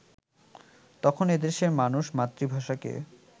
তখন এ দেশের মানুষ মাতৃভাষাকে